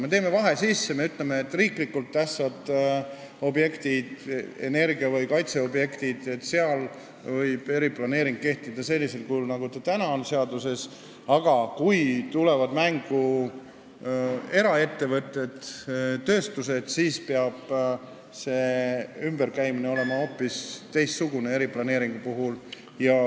Me soovime vahe sisse teha: riiklikult tähtsate objektide puhul, nt energia- või kaitseobjektid, võib eriplaneeringu regulatsioon kehtida sellisel kujul, nagu see praegu seaduses on, aga kui tulevad mängu eraettevõtted, tööstused, siis peab eriplaneeringuga ümberkäimine olema hoopis teistsugune.